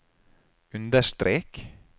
understrek